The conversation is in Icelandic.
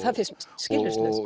skilyrðislaust